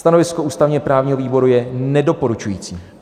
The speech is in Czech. Stanovisko ústavně-právního výboru je nedoporučující.